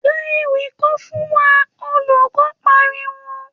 ‘Ka ewì kan fún wa!’, olùko̩ pariwo